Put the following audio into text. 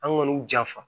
An kɔni janfa